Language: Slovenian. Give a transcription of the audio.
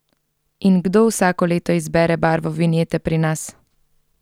In kdo vsako leto izbere barvo vinjete pri nas?